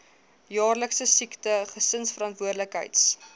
jaarlikse siekte gesinsverantwoordelikheids